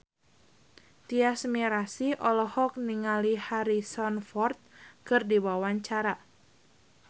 Tyas Mirasih olohok ningali Harrison Ford keur diwawancara